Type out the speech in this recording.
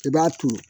I b'a turu